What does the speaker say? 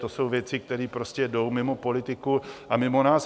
To jsou věci, které prostě jdou mimo politiku a mimo nás.